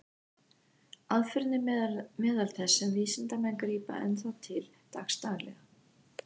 Aðferðin er meðal þess sem vísindamenn grípa enn þá til dagsdaglega.